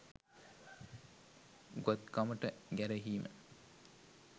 උගත්කමට ගැරහීම